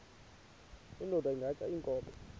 indod ingaty iinkobe